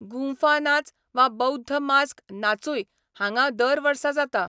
गुंफा नाच वा बौध्द मास्क नाचूय हांगा दर वर्सा जाता.